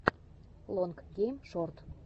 лонг гейм шорт